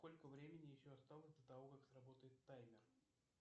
сколько времени еще осталось до того как сработает таймер